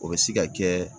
O bɛ se ka kɛ